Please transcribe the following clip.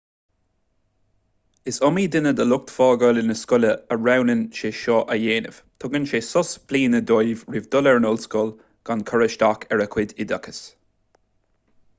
is iomaí duine de lucht fágála na scoile a roghnaíonn sé seo a dhéanamh tugann sé sos bliana dóibh roimh dhul ar an ollscoil gan cur isteach ar a gcuid oideachais